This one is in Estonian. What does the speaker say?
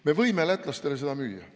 Me võime lätlastele müüa.